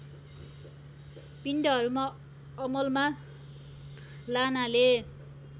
पिण्डहरूमा अमलमा लानाले